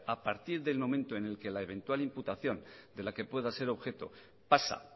a partir del momento en que la eventual imputación de la que pueda ser objeto pasa